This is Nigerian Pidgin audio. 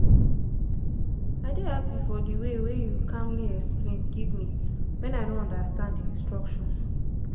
i dey happy for the waywey you calmly explain give me when i no understand the instructions.